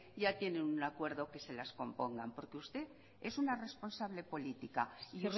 ya tienen un acuerdo que se las compongan porque usted es una responsable política y